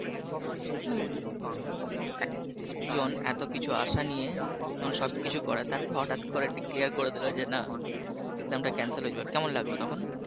জন এত কিছু আশা নিয়ে সবকিছু করে তারপর হঠাৎ করে Declare করে দিল যে না Exam টা Cancel হয়ে যাবে কেমন লাগবে তখন?